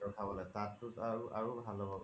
তাত তু আৰু ভাল হয়